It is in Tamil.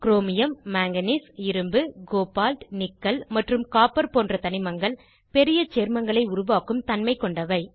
க்ரோமியம் மாங்கனீஸ் இரும்பு கோபால்ட் நிக்கல் மற்றும் காப்பர் போன்ற தனிமங்கள் பெரிய சேர்மங்களை உருவாக்கும் தன்மை கொண்டவை